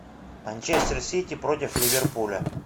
манчестер сити против ливерпуля